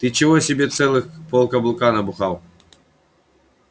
ты чего себе целых полкаблука набухал